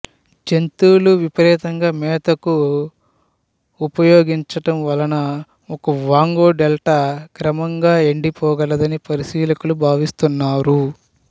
జంతువులు విపరీతంగా మేతకు ఉపయోగించడం వలన ఒకవాంగో డెల్టా క్రమంగా ఎండి పోగలదని పరిశీలకులు భావిస్తున్నారు